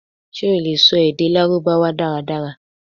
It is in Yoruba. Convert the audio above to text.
ṣe o le sọ ede Larubawa daradara?